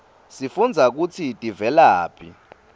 sifundza kutsi tivelaphi